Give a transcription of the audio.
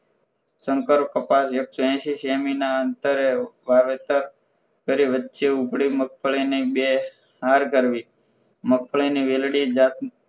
શંકર કપાસ એકસો એશી સેમીના અંતરે વાવેતર કરી વચ્ચે ઉપડી મગફળીની બે હાર કરવી મગફળીની વેલડી જાત